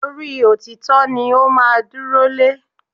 Orí òtítọ́ ni ó máa dúró lé